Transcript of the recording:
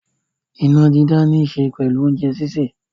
Iná dídá níṣe pẹ̀lú oúnjẹ sísè.